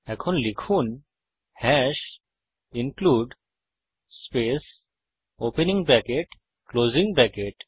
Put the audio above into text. এখন লিখুন hash include space opening bracket closing bracket